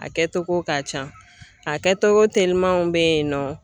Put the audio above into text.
A kɛtogo ka can a kɛtogo telimanw bɛ yen nɔ.